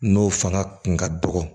N'o fanga kun ka dɔgɔ